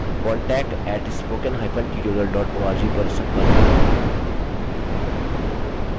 * अधिक जानकारी के लिए contact @spokentutorial org पर संपर्क करें